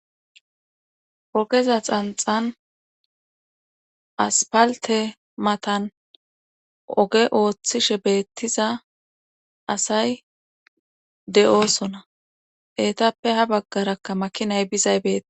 ogeza xanxan aspalte matan oge ooththishe beettiza asay de7oosona heetappe ha baggarakka makinay bizaybeeta